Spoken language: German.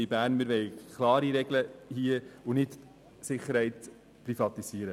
Wir wollen hier klare Regeln, wir wollen die Sicherheit nicht privatisieren.